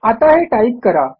आता हे टाईप करा